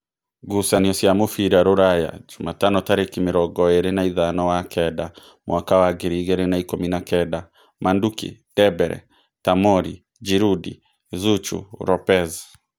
Ngucanio cia mũbira Rūraya Jumatano tarĩki mĩrongo ĩrĩ na ithano wa kenda mwaka wa ngiri igĩrĩ na ikũmi na kenda: Manduki, Ndembere, Tamori, Ngirundi, Zuchu, Ropez